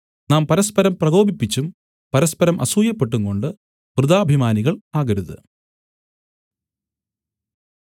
നാം പരസ്പരം പ്രകോപിപ്പിച്ചും പരസ്പരം അസൂയപ്പെട്ടുംകൊണ്ട് വൃഥാഭിമാനികൾ ആകരുത്